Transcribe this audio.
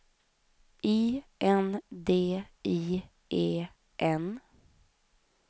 I N D I E N